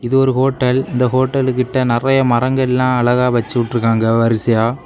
இது ஒரு ஹோட்டல் இந்த ஹோட்டல் கிட்ட நெறைய மரங்கள்லா அழகா வச்சிவுடிருக்காங்க வரிசையா.